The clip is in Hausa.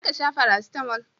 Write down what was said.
za ka sha farasitamo?